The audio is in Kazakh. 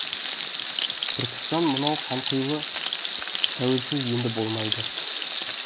түркістан мынау қанқұйлы тәуелсіз енді болмайды